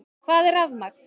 Hvað er rafmagn?